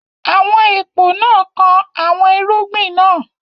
Àwọn èpò náà kan àwọn irúgbìn náà.